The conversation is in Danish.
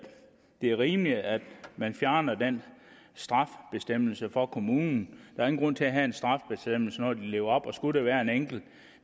det er rimeligt at man fjerner den straffebestemmelse for kommunen er ingen grund til at have en straffebestemmelse når de lever op og skulle der være en enkelt